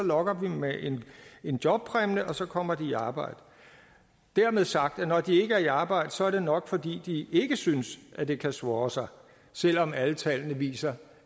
lokker vi dem med en jobpræmie og så kommer de i arbejde dermed sagt at når de ikke er i arbejde så er det nok fordi de ikke synes at det kan swåre sig selv om alle tallene viser